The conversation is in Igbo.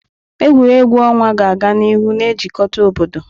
Egwuregwu ọnwa ga-aga n'ihu na-ejikọta obodo.